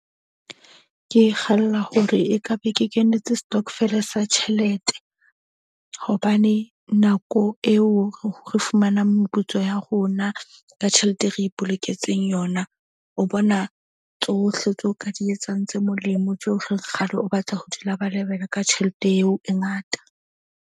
Ke kgalla hore ekabe ke kenetse stokvel-e sa tjhelete. Hobane nako eo re fumanang meputso ya rona ka tjhelete e re ipoloketseng yona. O bona tsohle tseo ka di etsang tse molemo, tsohle kgale o batla ho di labalabela ka tjhelete eo e ngata.